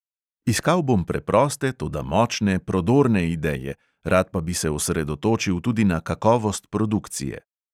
Iskal bom preproste, toda močne, prodorne ideje, rad pa bi se osredotočil tudi na kakovost produkcije.